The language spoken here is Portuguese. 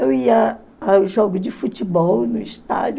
Eu ia ao jogo de futebol no estádio.